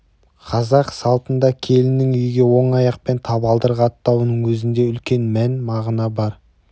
қазақ салтында келіннің үйге оң аяқпен табалдырық аттауының өзінде үлкен мән-мағына бар